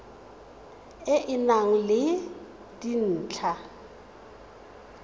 e e nang le dintlha